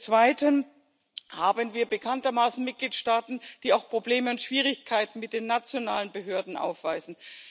Zweitens haben wir bekanntermaßen Mitgliedstaaten, die auch Probleme und Schwierigkeiten mit den nationalen Behörden aufweisen.